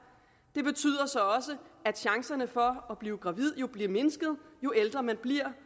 og chancerne for at blive gravid bliver mindsket jo ældre man bliver